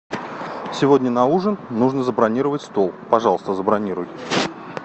сегодня на ужин нужно забронировать стол пожалуйста забронируй